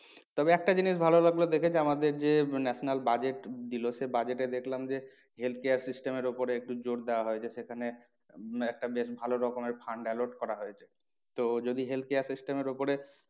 তবে একটা জিনিস ভালো লাগলো দেখে যে আমাদের যে national budget দিলো সে budget এ দেখলাম যে health care system এর উপরে একটু জোর দেওয়া হয়েছে সেখানে একটা বেশ ভালো রকমের fund alert করা হয়েছে। তো যদি health care system এর ওপরে